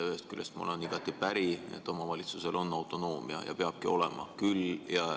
Ühest küljest olen ma igati päri, et omavalitsusel on autonoomia ja peabki olema.